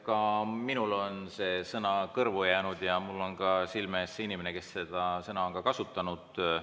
Ka minule on see sõna kõrvu jäänud ja mul on silme ees ka inimene, kes seda sõna on kasutanud.